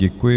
Děkuji.